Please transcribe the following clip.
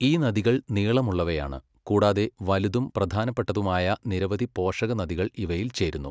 ഈ നദികൾ നീളമുള്ളവയാണ് കൂടാതെ വലുതും പ്രധാനപ്പെട്ടതുമായ നിരവധി പോഷകനദികൾ ഇവയിൽ ചേരുന്നു.